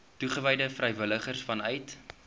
toegewyde vrywilligers vanuit